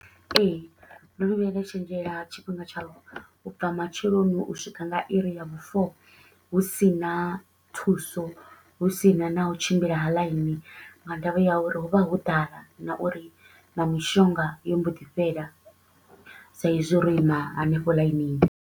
Ee, ndo no vhuya nda tshenzhela tshifhinga tsha u bva matsheloni u swika nga iri ya vhu four hu si na thuso, hu si na na u tshimbila ha ḽaini nga ndavha ya uri hu vha ho ḓala na uri na mishonga yo mbo ḓi fhela sa i zwi ro ima hanefho ḽainini.